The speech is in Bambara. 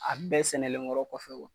A bɛɛ sɛnɛlen kɔrɔ kɔfɛ